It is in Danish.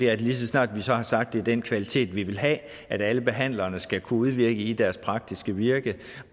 er at lige så snart vi så har sagt at det er den kvalitet vi vil have at alle behandlere skal kunne udvirke i deres praktiske virke